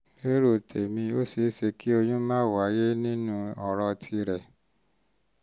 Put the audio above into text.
lérò tèmi ó ṣe um é ṣe um kí oyún má wáyé nínú ọ̀rọ̀ tìrẹ um